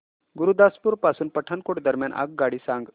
गुरुदासपुर पासून पठाणकोट दरम्यान आगगाडी सांगा